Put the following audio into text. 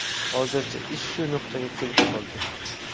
Hozircha ish shu nuqtaga kelib qoldi.